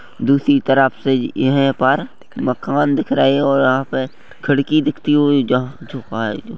दूसरी तरफ से इहे पर मकान दिख रहे और यहाँ पे खिड़की दिखती हुई जहाँ छुपाई--